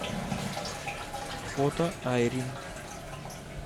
фото айрин